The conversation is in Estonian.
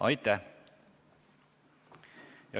Aitäh!